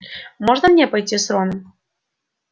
можно мне пойти с роном